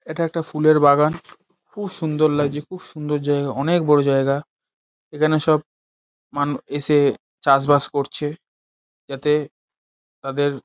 এটা একটা ফুলের বাগান খুব সুন্দর লাগছে খুব সুন্দর জায়গা অনেক বড় জায়গা এখানে সব মানু এসে চাষবাস করছে যাতে তাদের --